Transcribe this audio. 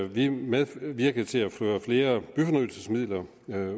vi medvirkede til at føre flere byfornyelsesmidler